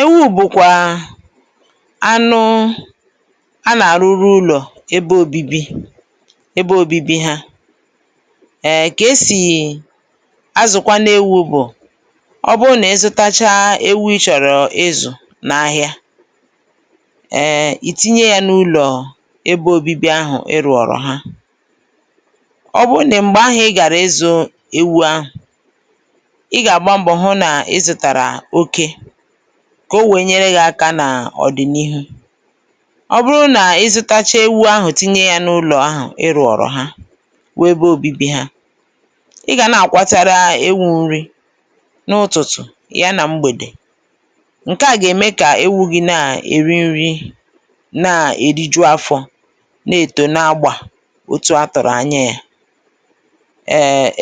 ewù bụ̀kwà anụ a nà àrụrụ ụlọ̀ ebe obibi, ẹbẹ obibi ha. ẹ̀, kà esì azụ̀kwanụ ewū bụ̀ ọ bụ nà ịzụtacha ewu ị chọ̀ ịzụ̀ n’ahịa, ẹẹ̀, ìtinye ya n’ụlọ̀ ebe obibi ahụ̀ ị rụ̀rụ ha. ọ bụ nà m̀gbè ahụ̄ ị gàrà ịzụ̄ ewu ahụ̀, ị gà àgba mbọ̀ hụ nà ịzụ̄tàrà oke, kà o wèe nyere gị aka nà ọ̀dị̀nihụ. ọ bụrụ nà ịzụtacha ewu ahụ̀ tinye yā nà ụlọ̀ ahụ ị rụ̀ọ̀rọ̀ ha, bụ ebe obibi ha, ị gà nà àkpatara ewū nri n’ụtụ̀tụ̀, y anà mgbèdè. ǹkẹ à gà ème kà ewu gi nà èri nrī, nà èriju afọ̄, nà èto na agbà otu a tụ̀rụ̀ anya yā.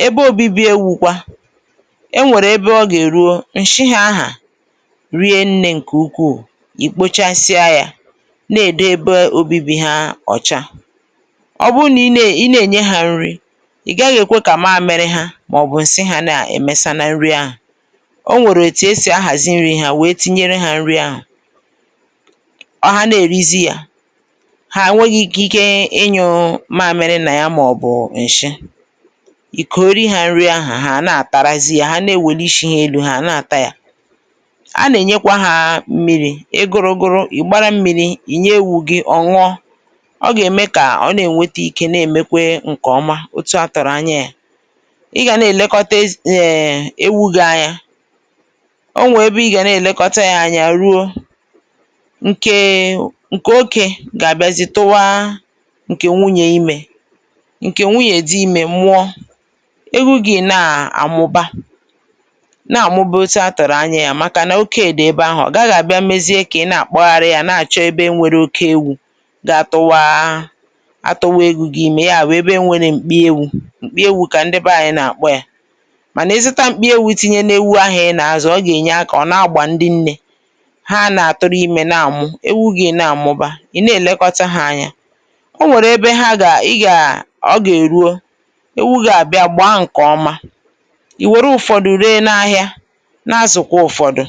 ebe obibi ewū kwa, ẹ nwẹ̀rẹ̀ ẹbẹ ọ gà èruo, ǹshị ha ahụ̀ rie nnē ǹkè ukwù, ì kpochasịa hā, nà èdebe ẹbẹ obibi ha ọ̀cha. ọ bụ nà ị nà ènye ha nri, ị̀ gaghị èkwe kà ǹsi ha mà ọ̀ bụ̀ mamịrị ha nà ẹ̀mẹsa na nrị ha ahụ̀. ọ nwẹ̀rẹ̀ otù esì ahàzị nrị hā we tinyere hā nri ahụ̀. ha nà èrizi ya, hà ẹ̀nwẹghị ikike ị nyụ̄ mamịrị ha nà ya mà ọ̀ bụ̀ ǹshị, ìkunyere ha nri ahụ̀, hà nà àtara, hà na ewèli ishī ha elū, hà àna àta ya. ha nà ènyekwe hā mmirī. ị gụrụ gụrụ, ị̀ gbara mmīri, ìnye ewū gị, ọ̀ nụọ. ọ gà ème kà ọ nà ẹ̀nwẹtẹ ike nà èmekwe ǹkè ọma, etu a tụ̀rụ anya ya. ị gà nà ẹ̀lẹkọta ewū vgị anya, ọ nwẹ ẹbẹ ị gà nà ẹ̀lẹkọta yā anya ruo, ǹkẹ̀ okē gà àbịazị tụwa ǹkè nwunyè imē. ǹkè nwunye dị imē mụọ, ewu gị nà àmụba, nà àmụba otu a tụ̀rụ anya ya, màkà nà oke dị̀ ebe ahụ̀, ọ̀ gaghị àbịa mezie kà ị nà àkpụgharị ya nà àchọ ebe nwere oke ewū ga atụwa ewu gi imē. yà bụ̀ ebe nwere m̀kpị ewū, m̀kpị ewu kà ndị bẹ anyị nà àkpọ ya. mànà ịzụta m̀kpị ewū tinye n’ewu ahụ̀ ị nà azụ̀, ọ gà ènye akā na agbà ndị nnē. hà a nà tụrụ imē nà àmụ. ewu gị̄ nà àmụba, ị̀ nà ènekọta ha anya. ọ nwẹ̀rẹ̀ ẹbẹ ị gà ha gà èruo, ewu gi àbịa gbàa ǹkè ọma, I wère ụfọdụ re n’ahịa, na azụ̀kwa ụfọdụ.